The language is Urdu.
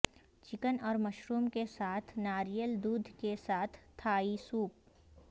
چکن اور مشروم کے ساتھ ناریل دودھ کے ساتھ تھائی سوپ